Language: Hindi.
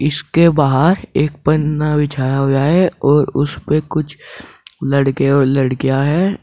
इसके बाहर एक पन्ना बिछाया हुआ है और उस पर कुछ लड़के और लड़कियां है।